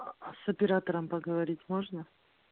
с оператором поговорить можно